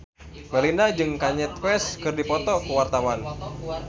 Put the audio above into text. Melinda jeung Kanye West keur dipoto ku wartawan